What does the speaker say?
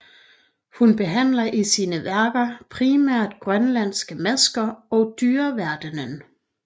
Hun behandler i sine værker primært grønlandske masker og dyreverdenen